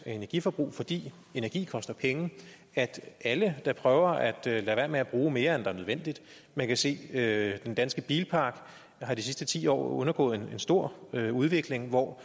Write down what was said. energiforbrug fordi energi koster penge at alle da prøver at lade være med at bruge mere end der er nødvendigt man kan se at den danske bilpark de sidste ti år har undergået en stor udvikling hvor